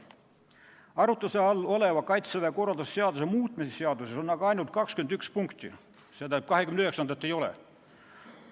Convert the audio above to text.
Arutluse all oleva Kaitseväe korralduse seaduse muutmise seaduses on aga ainult 21 punkti, st 29. punkti seal ei ole.